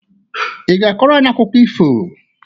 Ị ga-akọrọ anyị akụkọ ifo?